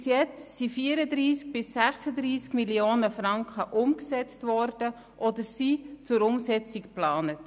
Bisher wurden 34 bis 36 Mio. Franken umgesetzt oder sie sind zur Umsetzung geplant.